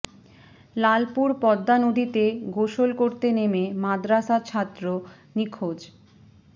লালপুরে পদ্মা নদীতে গোসল করতে নেমে মাদ্রাসা ছাত্র নিখোঁজ